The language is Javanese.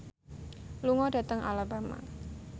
lunga dhateng Alabama